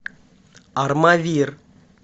армавир